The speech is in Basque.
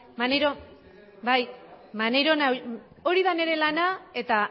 maneiro bai hori da nire lana eta